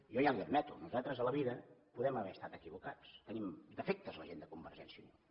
jo ja li ho admeto nosaltres a la vida podem haver estat equivocats tenim defectes la gent de convergència i unió